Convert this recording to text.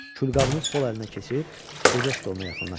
Külqabını sol əlinə keçirib gecə stoluna yaxınlaşdı.